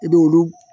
I b'olu